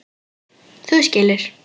Þú skilur.